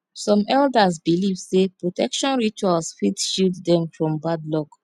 some elders believe sey protection rituals fit shield dem from bad luck